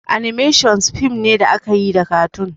"Animations" fim ne da akayi da katun